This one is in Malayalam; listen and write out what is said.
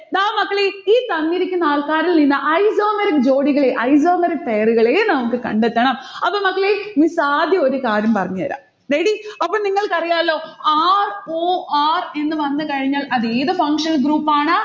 ദാ മക്കളെ ഈ തന്നിരിക്കുന്ന ആൾക്കാരിൽ നിന്ന് isomeric ജോഡികളെ, isomeric pair ഉകളെ നമ്മുക്ക് കണ്ടെത്തണം. അപ്പൊ മക്കളെ miss ആദ്യം ഒരു കാര്യം പറഞ്ഞ് തരാം. ready? അപ്പൊ നിങ്ങൾക്കറിയാലോ ror എന്ന് വന്നു കഴിഞ്ഞാൽ അത് ഏതു functional group ആണ്?